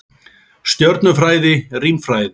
Stjörnufræði- Rímfræði.